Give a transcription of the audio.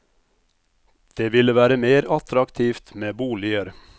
Det ville være mer attraktivt med boliger.